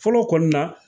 Fɔlɔ kɔni na